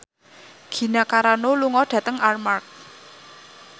Gina Carano lunga dhateng Armargh